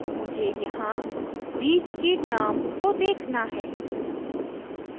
मुझे यहाँ बीच की terms को देखना है